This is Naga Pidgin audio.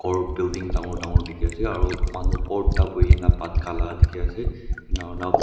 aru building dangor dangor dekhi ase aru manu bhorta bhuina bhat kha laga dekhi ase enika kurina.